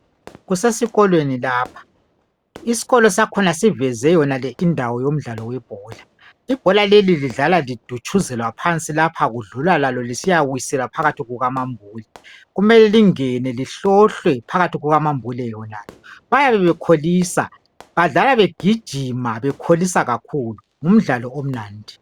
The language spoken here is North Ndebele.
Kusesikolweni lapha. Iskolo sakhona siveze yonale indawo yomdlalo webhola. Ibhola leli lidlalwa lidutshuzelwa phansi lapha kudlulwa lalo lisiyawiselwa phakathi kukamambule. Kumele lingene, lihlohlwe phakathi kukamambule yenalo. Bayabe bekholisa. Badlala begijima, bekholisa kakhulu. Ngumdlalo omnandi.